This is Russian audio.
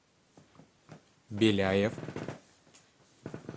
беляев